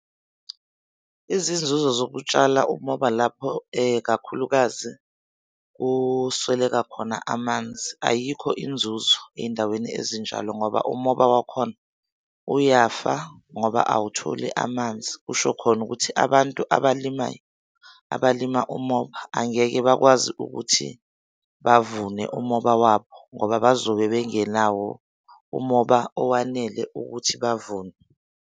Izinzuzo zokutshala umoba lapho kakhulukazi kusweleka khona amanzi, ayikho inzuzo ey'ndaweni ezinjalo ngoba umoba wakhona uyafa ngoba awutholi amanzi. Kusho khona ukuthi abantu abalimayo, abalima umoba angeke bakwazi ukuthi bavune umoba wabo ngoba bazobe bengenawo umoba owanele ukuthi bavune.